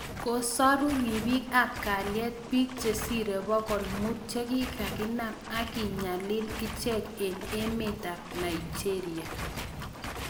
Kosaru ripik ap kalyet piik chesiree pokol muut chekikakinaam akenyalil ichek eng emeet ap Naigeria